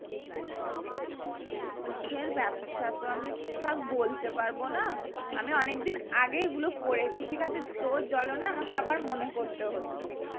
কিসের ব্যবসা তো ঠিক ঠাক বলতে পারবো না আমি অনেক দিন আগেই পড়েছি ঠিক আছে তোর জ্বলনে আমাকে আবার মনে করতে হচ্ছে